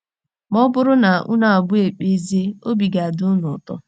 Ma ọ bụrụ na unu abụọ ekpezie, obi ga - adị unu ụtọ.